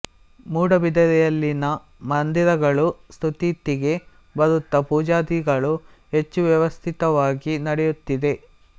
ಮೂಡಬಿದರೆಯಲ್ಲಿನ ಮಂದಿರಗಳು ಸುಸ್ಥಿತಿಗೆ ಬರುತ್ತಾ ಪೂಜಾದಿಗಳು ಹೆಚ್ಚು ವ್ಯವಸ್ಥಿತವಾಗಿ ನಡೆಯುತ್ತಿದೆ